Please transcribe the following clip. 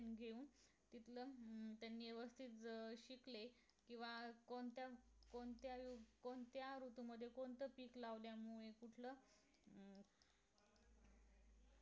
त्यांनी घेऊन शिक्षण अं त्यांनी व्यवस्थित शिकले किंवा कोणत्याच कोणत्या कोणत्या ऋतू मध्ये कोणतं पीक लावल्यामुळे उगत